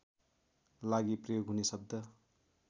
लागि प्रयोग हुने शब्द